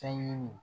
Fɛn ɲini